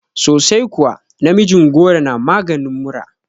Sosai kuwa, namijin goro na maganin mura